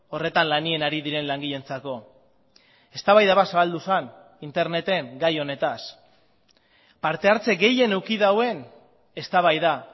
horretan lanean ari diren langileentzako eztabaida bat zabaldu zen interneten gai honetaz partehartze gehien eduki duen eztabaida